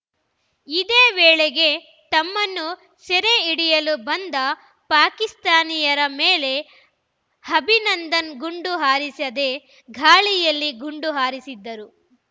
ಇದೇ ವೇಳೆಗೆ ತಮ್ಮನ್ನು ಸೆರೆಹಿಡಿಯಲು ಬಂದ ಪಾಕಿಸ್ತಾನಿಯರ ಮೇಲೆ ಅಭಿನಂದನ್‌ ಗುಂಡು ಹಾರಿಸದೆ ಗಾಳಿಯಲ್ಲಿ ಗುಂಡು ಹಾರಿಸಿದ್ದರು